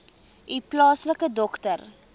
u plaaslike dokter